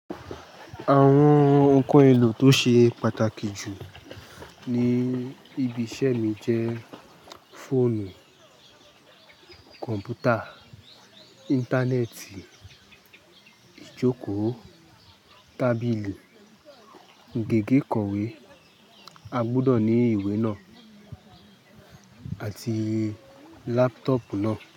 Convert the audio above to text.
Àwọn ǹkan ohun èlò tó ṣe pàtàkì jù ní ibi iṣẹ́ mi jẹ́ fóònù, kọ̀m̀pútà, Íńtánẹ́ẹ̀tì, ìjókòó, tábìlì, gègé ìkọ̀wé, a gbọ́dọ̀ ní ìwé náà àti laptop náà.